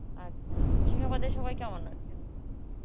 আচ্ছা, মুর্শিদাবাদে সবাই কেমন আছে?